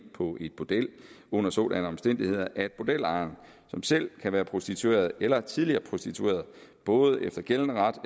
på et bordel under sådanne omstændigheder at bordelejeren som selv kan være prostitueret eller tidligere prostitueret både efter gældende ret